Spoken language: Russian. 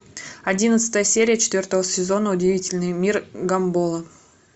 одиннадцатая серия четвертого сезона удивительный мир гамбола